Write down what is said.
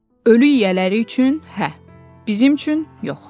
Ölü yiyələri üçün hə, bizim üçün yox.